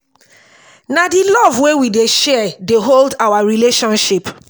na di love wey we dey share dey hold our relationship.